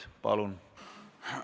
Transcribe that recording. Palun!